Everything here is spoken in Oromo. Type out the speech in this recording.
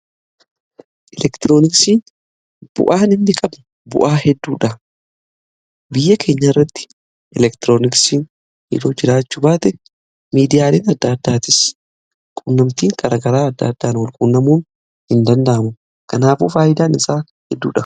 Elektirooniksiin bu'aa inni qabu bu'aa hedduudha. Biyya keenya irratti elektirooniksii otoo jiraachu baate miidiyaaleen adda addaatis qunnamtiin garagaraa adda addaan wal quunnamuun hin danda'amu kanaafuu faayidaan isaa hedduudha.